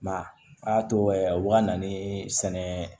Ma a y'a to o ka na ni sɛnɛ